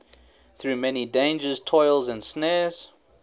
through many dangers toils and snares